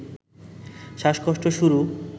শ্বাসকষ্ট শুরু